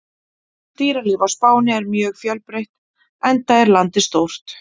Dýralíf á Spáni er mjög fjölbreytt enda er landið stórt.